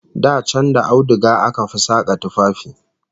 Da can da auduga aka fi saka tufafi